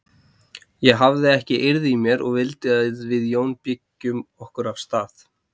Ég hafði ekki eirð í mér og vildi að við Jón byggjum okkur af stað.